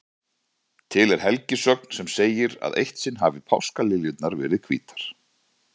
Til er helgisögn sem segir að eitt sinn hafi páskaliljurnar verið hvítar.